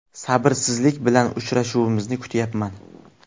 Sabrsizlik bilan uchrashuvimizni kutyapman.